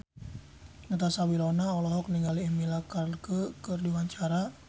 Natasha Wilona olohok ningali Emilia Clarke keur diwawancara